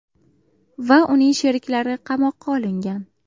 va uning sheriklari qamoqqa olingan.